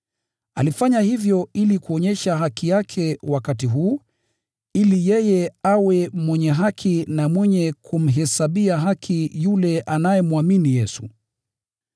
Alifanya hivyo ili kuonyesha haki yake wakati huu, ili yeye awe mwenye haki na mwenye kumhesabia haki yule anayemwamini Yesu.